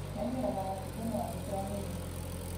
Magĩraga matunda maya thoko ya Nairobi